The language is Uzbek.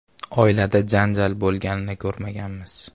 “Oilada janjal bo‘lganini ko‘rmaganmiz.